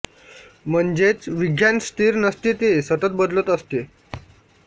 म्हणजेच विज्ञान स्थिर नसते ते सतत बदलत असते